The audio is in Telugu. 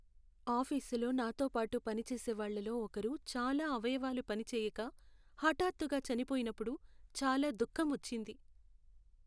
ఆఫీసులో నాతో పాటు పనిచేసేవాళ్ళలో ఒకరు చాలా అవయవాలు పనిచేయక, హఠాత్తుగా చనిపోయినప్పుడు చాలా దుఃఖం వచ్చింది.